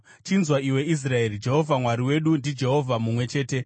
Chinzwa iwe Israeri: Jehovha Mwari wedu, ndiJehovha mumwe chete.